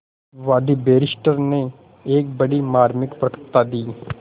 वादी बैरिस्टर ने एक बड़ी मार्मिक वक्तृता दी